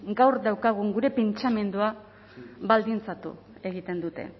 gaur daukagun gure pentsamendua baldintzatu egiten dute